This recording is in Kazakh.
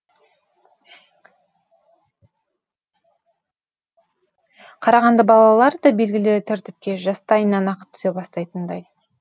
қарағанды балалары да белгілі тәртіпке жастайынан ақ түсе бастайтындай